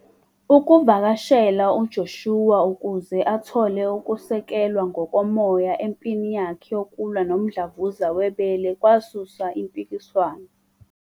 ukuvakashela uJoshua ukuze athole ukusekelwa ngokomoya empini yakhe yokulwa nomdlavuza webele kwasusa impikiswano.